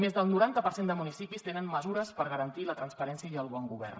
més del noranta per cent de municipis tenen mesures per garantir la transparència i el bon govern